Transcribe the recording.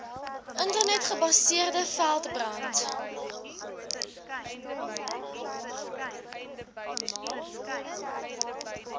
internet gebaseerde veldbrand